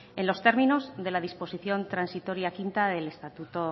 en los términos de la disposición transitoria quinta del estatuto